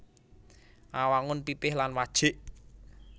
Awangun pipih lan wajik